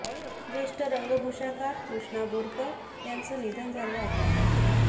ज्येष्ठ रंगभूषाकार कृष्णा बोरकर यांचं निधन झालं आहे